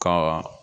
Ka